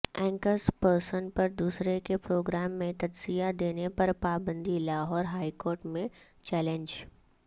anchors person پر دوسرے کے پروگرام میں تجزیہ دینے پر پابندی لاہور ہائیکورٹ میں چیلنج